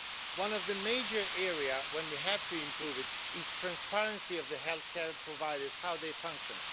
One of the major areas in which we have to improve is the transparency of health care providers and how they function.